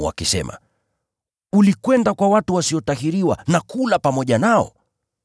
wakisema, “Ulikwenda kwa watu wasiotahiriwa na kula pamoja nao.”